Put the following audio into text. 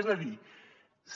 és a dir